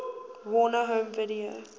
warner home video